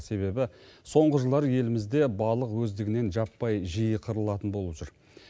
себебі соңғы жылдары елімізде балық өздігінен жаппай жиі қырылатын болып жүр